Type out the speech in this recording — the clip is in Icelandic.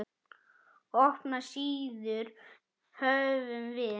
Opnar síður höfum við.